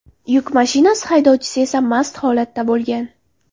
Yuk mashinasi haydovchisi esa mast holatda bo‘lgan.